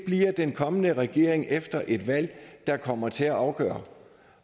den kommende regering efter et valg der kommer til at afgøre